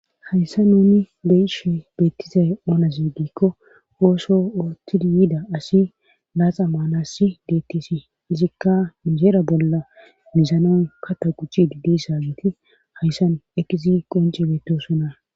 Hayssan nuni be'ishe beettizay oonate giikko ooso oottidi yida asi laaxa maanasi deettis. Izikka inijeera bolla mizanawu kata gujjidi dizageeti hayssan ekkidi qoncci beettosona.